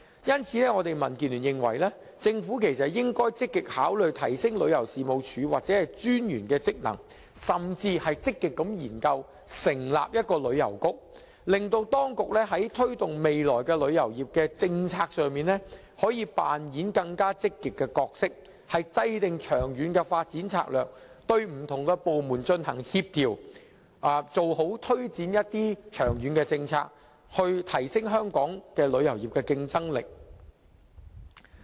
因此，我們民建聯認為，政府應積極考慮提升旅遊事務署或旅遊事務專員的職能，甚至積極研究成立旅遊局，令當局在未來推動旅遊業政策時可以扮演更積極的角色，制訂長遠發展策略，協調不同部門推展長遠政策，從而提升香港旅遊業的競爭力。